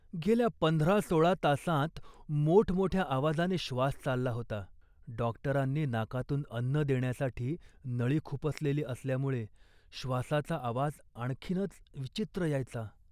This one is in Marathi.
गेल्या पंधरा सोळा तासांत मोठमोठ्या आवाजाने श्वास चालला होता. डॉक्टरांनी नाकातून अन्न देण्यासाठी नळी खुपसलेली असल्यामुळे श्वासाचा आवाज आणखीनच विचित्र यायचा